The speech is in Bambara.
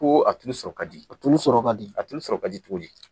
Koo a tulu sɔrɔ kadi. A tulu sɔrɔ kadi. A tulu sɔrɔ kadi cogodi?